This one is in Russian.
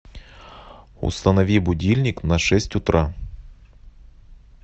установи будильник на шесть утра